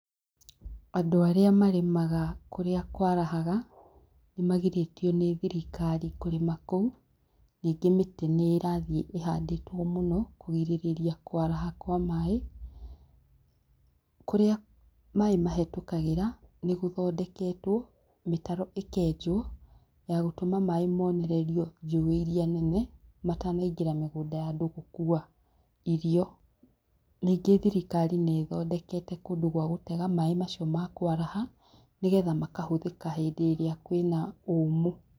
Andũ arĩa marĩmaga kũrĩa kwarahaga, nĩ magirĩtio nĩ thirikari kũrĩma kũu, ningĩ mĩtĩ nĩ ĩrathiĩ ĩhandĩtwo mũno kũrigĩrĩria kwaraha kwa maĩ kũrĩa maĩ mahetũkagĩra nĩguthondeketwo, mĩtaro ĩkenjwo ya gũtũma maĩ mũnererio njuĩ iria nene matanaingĩra mĩgunda ya andũ gũkua irio. Ningĩ thirikari nĩ ĩthondekete kondũ gwa gũtega maĩ macio ma kwaraha nĩgetha makahũthĩka hĩndĩ ĩria kwina ũmũ.